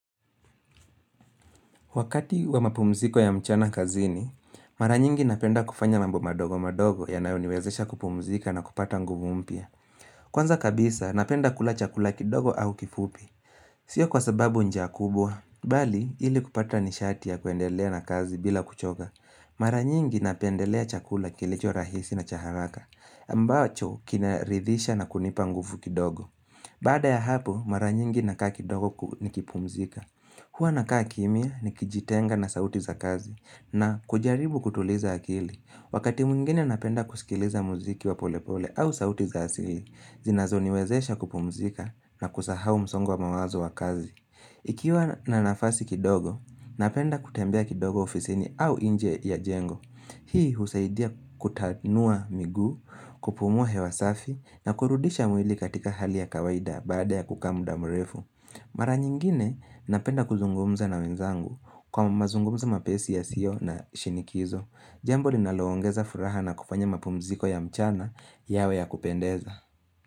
Wakati wa mapumziko ya mchana kazini, mara nyingi napenda kufanya mambo madogo madogo yanayoniwezesha kupumzika na kupata nguvu mpya. Kwanza kabisa, napenda kula chakula kidogo au kifupi. Sio kwa sababu njaa kubwa, bali ili kupata nishati ya kuendelea na kazi bila kuchoka. Mara nyingi napendelea chakula kilicho rahisi na cha haraka, ambacho kinaridhisha na kunipa nguvu kidogo. Baada ya hapo, mara nyingi nakaa kidogo nikipumzika Hua nakaa kimya ni kijitenga na sauti za kazi na kujaribu kutuliza akili Wakati mwingine napenda kusikiliza mziki wa pole pole au sauti za asili Zinazoniwezesha kupumzika na kusahau msongo wa mawazo wa kazi Ikiwa ninanafasi kidogo, napenda kutembea kidogo ofisini au nje ya jengo Hii husaidia kutanua miguu, kupumua hewa safi na kurudisha mwili katika hali ya kawaida baada ya kukaa muda mrefu. Mara nyingine napenda kuzungumza na wenzangu kwa mazungumzo mepesi yasiyo na shinikizo. Jambo linaloongeza furaha na kufanya mapumziko ya mchana yawe ya kupendeza.